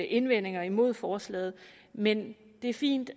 indvendinger imod forslaget men det er fint